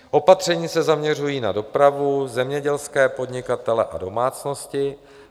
Opatření se zaměřují na dopravu, zemědělské podnikatele a domácnosti.